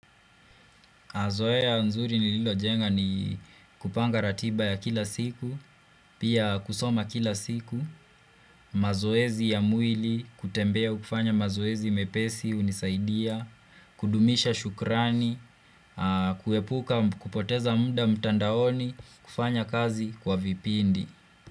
Mazoea nzuri nililo jenga ni kupanga ratiba ya kila siku, pia kusoma kila siku, mazoezi ya mwili, kutembea ukifanya mazoezi mepesi, hunisaidia, kudumisha shukrani, kuepuka kupoteza muda mtandaoni, kufanya kazi kwa vipindi.